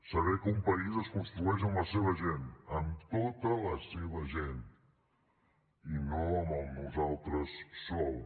saber que un país es construeix amb la seva gent amb tota la seva gent i no amb el nosaltres sols